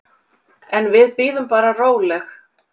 En við bíðum bara róleg.